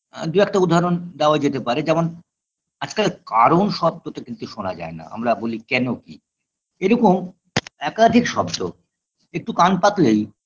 এ দু একটা উদাহরণ দেওয়া যেতে পারে যেমন আজকাল কারণ শব্দটা কিন্তু শোনা যায় না আমরা বলি কেন কি এরকম একাধিক শব্দ একটু কান পাতলেই